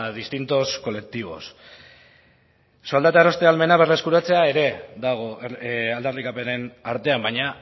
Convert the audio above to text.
distintos colectivos soldata eroste ahalmena berreskuratzea ere dago aldarrikapenen artean baina